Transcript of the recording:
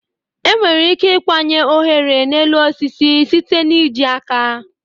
Enwere ike ịkwanye oghere n'elu osisi site n'iji aka